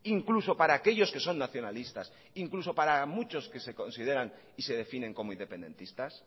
incluso para aquellos que son nacionalistas incluso para muchos que se consideran y se definen como independentistas